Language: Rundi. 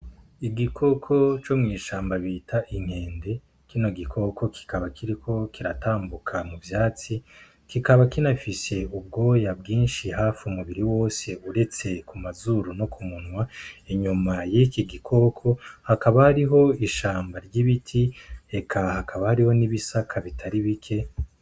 Igikoko co mu ishamba bita inkende kino gikoko kikaba kiriko kiratambuka mu vyatsi kikaba kinafise ibwoya vyishi hafi umubiri wose uretse ku mazuru no ku munwa inyuma yiki gikoko hakaba hariho ishamba ry'biti eka hakaba hariho n'ibisaka.